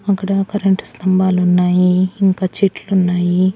అక్కడ కరెంటు స్తంభాలున్నాయి ఇంకా చెట్లున్నాయి.